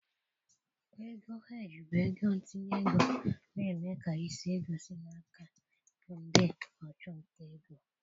Ego Heeji bụ ego ntinye ego na-eme ka isi ego si n'aka ndị ọchụnta ego.